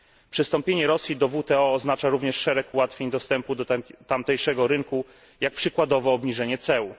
Przystąpienie Rosji do WTO oznacza również szereg ułatwień w dostępie do tamtejszego rynku, jak przykładowo obniżenie ceł.